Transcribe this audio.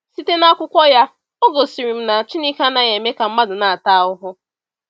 Site n’akwụkwọ ya, o gosiri m na Chineke anaghị eme ka mmadụ na-ata ahụhụ.